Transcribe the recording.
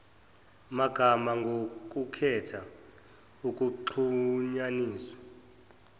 magama ngokukhetha ukuxhunyaniswa